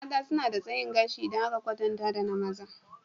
Mata suna da tsayin gashi idan aka kwatanta da maza